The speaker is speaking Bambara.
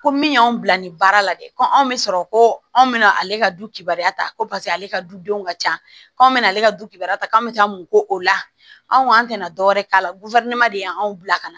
Ko min y'anw bila nin baara la dɛ ko anw bɛ sɔrɔ ko anw bɛna ale ka dukiba ta ko paseke ale ka dudenw ka ca k'anw bɛna ale ka du kibaruya ta k'an bɛ taa mu ko o la anw tɛna dɔwɛrɛ k'a la de y'anw bila ka na